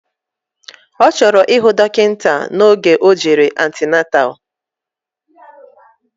Ọchọrọ ihu dokita na oge ojere antenatal.